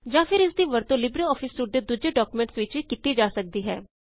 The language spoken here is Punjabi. ਜਾਂ ਫੇਰ ਇਸ ਦੀ ਵਰਤੋਂ ਲਿਬਰੇਆਫਿਸ ਸੂਟ ਦੇ ਦੂਜੇ ਡੌਕਯੂਮੈਂਟਸ ਵਿੱਚ ਵੀ ਕੀਤੀ ਜਾ ਸਕਦੀ ਹੈ